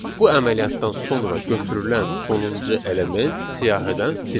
Bu əməliyyatdan sonra götürülən sonuncu element siyahıdan silinir.